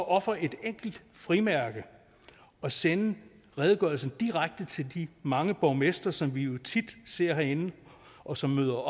ofre et enkelt frimærke og sende redegørelsen direkte til de mange borgmestre som vi jo tit ser herinde og som møder